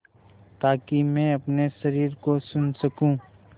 ताकि मैं अपने शरीर को सुन सकूँ